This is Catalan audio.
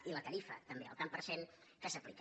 i la tarifa també el tant per cent que s’aplica